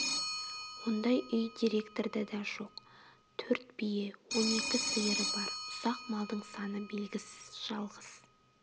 ондай үй директорда да жоқ төрт бие он екі сиыры бар ұсақ малдың саны белгісіз жалғыз